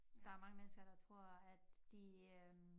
Der er mange mennesker der tror at de øh